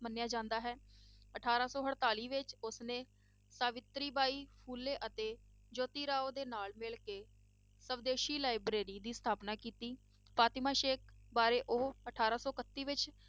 ਮੰਨਿਆ ਜਾਂਦਾ ਹੈ ਅਠਾਰਾਂ ਸੌ ਅੜਤਾਲੀ ਵਿੱਚ ਉਸਨੇ ਸਾਬਿਤਰੀ ਬਾਈ ਫੂਲੇ ਅਤੇ ਜੋਤੀ ਰਾਓ ਦੇ ਨਾਲ ਮਿਲ ਕੇ ਸਵਦੇਸੀ library ਦੀ ਸਥਾਪਨਾ ਕੀਤੀ, ਫਾਤਿਮਾ ਸੇਖ਼ ਬਾਰੇ ਉਹ ਅਠਾਰਾਂ ਸੌ ਇਕੱਤੀ ਵਿੱਚ